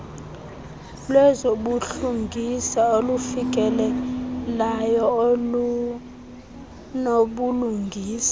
lwezobulungisa olufikelekayo olunobulungisa